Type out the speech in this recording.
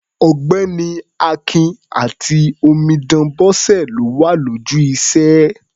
Ọ̀gbẹ́ni Akin àti omidan Bọ́sẹ̀ ló wà lójú iṣẹ́.